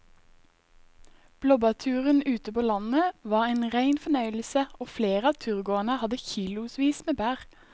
Blåbærturen ute på landet var en rein fornøyelse og flere av turgåerene hadde kilosvis med bær.